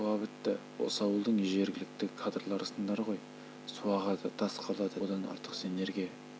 сендер туа бітті осы ауылдың жергілікті кадрларысыңдар ғой су ағады тас қалады деген одан артық сендерге